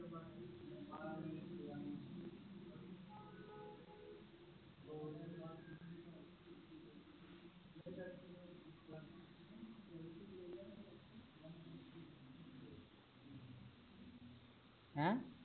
ਹੈ